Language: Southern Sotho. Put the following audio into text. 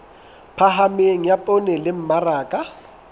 phahameng ya poone le mmaraka